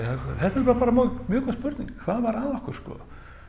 þetta er nú bara mjög góð spurning hvað var að okkur sko